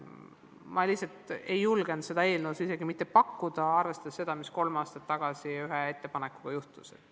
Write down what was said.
Ma lihtsalt ei julgenud seda eelnõus isegi mitte pakkuda, arvestades seda, mis kolm aastat tagasi ühe ettepanekuga juhtus.